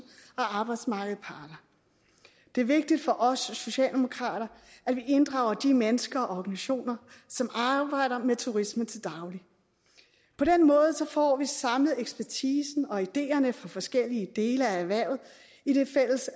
og arbejdsmarkedets parter det er vigtigt for os socialdemokrater at vi inddrager de mennesker og organisationer som arbejder med turisme til daglig på den måde får vi samlet ekspertisen og ideerne fra forskellige dele af erhvervet i det fælles